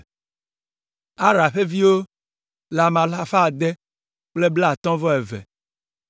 Ara ƒe viwo le ame alafa ade kple blaatɔ̃ vɔ eve (652).